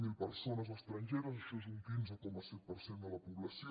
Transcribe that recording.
zero persones estrangeres això és un quinze coma set per cent de la població